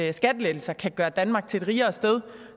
er skattelettelser kan gøre danmark til et rigere sted